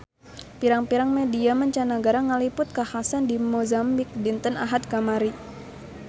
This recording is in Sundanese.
Pirang-pirang media mancanagara ngaliput kakhasan di Mozambik dinten Ahad kamari